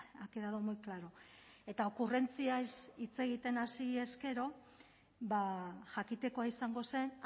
ha quedado muy claro eta okurrentziez hitz egiten hasiz gero jakitekoa izango zen